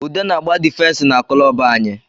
Ude na agba difensi na kulobu anyị